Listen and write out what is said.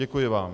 Děkuji vám.